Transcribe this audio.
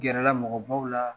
gɛrɛ la mɔgɔbaw la.